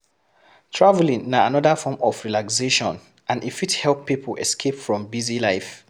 Traveling na anoda form of relaxation and e fit help pipo escape from busy life